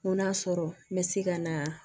N ko n'a sɔrɔ n bɛ se ka na